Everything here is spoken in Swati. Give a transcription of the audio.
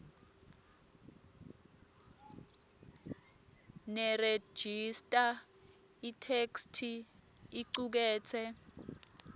nerejista itheksthi icuketse